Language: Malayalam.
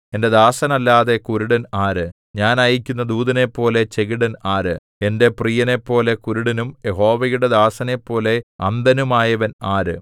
എന്റെ ദാസനല്ലാതെ കുരുടൻ ആര് ഞാൻ അയയ്ക്കുന്ന ദൂതനെപ്പോലെ ചെകിടൻ ആര് എന്റെ പ്രിയനെപ്പോലെ കുരുടനും യഹോവയുടെ ദാസനെപ്പോലെ അന്ധനുമായവൻ ആര്